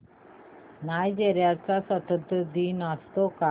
Nigeria चा स्वातंत्र्य दिन असतो का